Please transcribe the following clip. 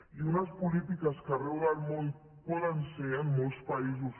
i unes polítiques que arreu del món poden ser en molts països